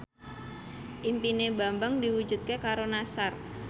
impine Bambang diwujudke karo Nassar